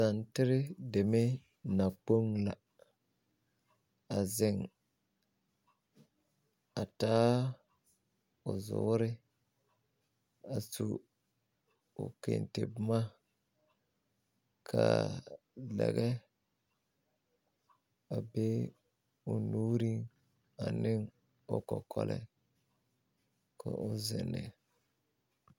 Santere deme nakpoŋ la a zeŋ a taa o zuuri a su o kente boma kaa lɛɡɛ a be o nuuriŋ ane o kɔkɔreŋ ka o zeŋ ne.